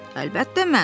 Əlbəttə mən.